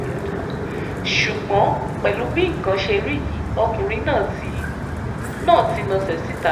ṣùgbọ́n pẹ̀lú bí nǹkan ṣe rí yìí ọkùnrin náà ti náà ti nasẹ̀ síta